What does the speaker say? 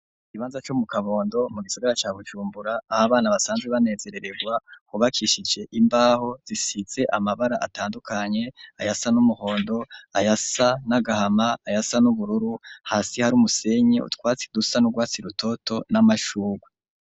Ikibanza co mu kabondo mu gisigara ca bujumbura abana basanzwe banezereregwa, hubakishije imbaho zisize amabara atandukanye ayasa n'umuhondo, ayasa n'agahama, ayasa n'ubururu, hasi hari umusenyi utwatsi dusa n'urwatsi rutoto n'amashugwe.